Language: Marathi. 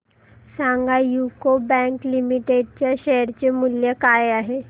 सांगा यूको बँक लिमिटेड च्या शेअर चे मूल्य काय आहे